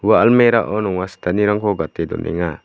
ua almirao nonga sitanirangko gate donenga.